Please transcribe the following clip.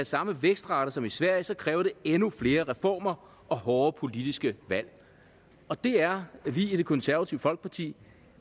samme vækstrate som i sverige så kræver det endnu flere reformer og hårde politiske valg og det er vi i det konservative folkeparti